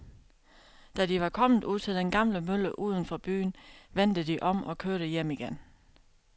Da de var kommet ud til den gamle mølle uden for byen, vendte de om og kørte hjem igen.